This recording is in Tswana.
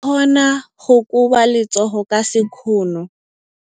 O ka kgona go koba letsogo ka sekgono.